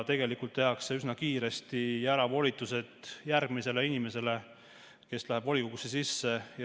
Tegelikult tehakse üsna kiiresti volitused järgmisele inimesele, kes läheb volikogusse.